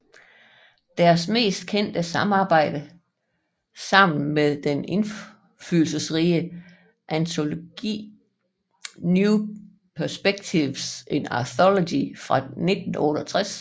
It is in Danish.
Deres mest kendte samarbejde sammen var den indflydelserige antologi New Perspectives In Archaeology fra 1968